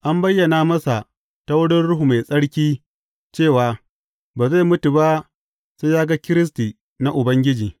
An bayyana masa ta wurin Ruhu Mai Tsarki cewa ba zai mutu ba sai ya ga Kiristi na Ubangiji.